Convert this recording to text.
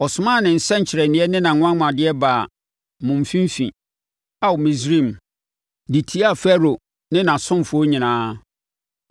Ɔsomaa ne nsɛnkyerɛnneɛ ne nʼanwanwadeɛ baa mo mfimfini, Ao Misraim, de tiaa Farao ne nʼasomfoɔ nyinaa.